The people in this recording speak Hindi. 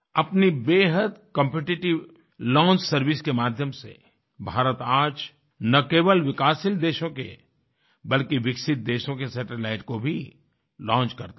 अपनी बेहद कॉम्पिटिटिव लॉन्च सर्विसेज के माध्यम से भारत आज न केवल विकासशील देशों के बल्कि विकसित देशों के सैटेलाइटस को भी लॉन्च करता है